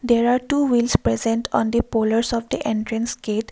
there are two wheels present on the polars of the entrance gate.